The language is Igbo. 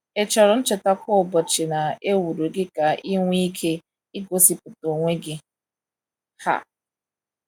Ị chọrọ ncheta kwa ụbọchị na e wuru gị ka ị nwee ike igosipụta onwe gị? um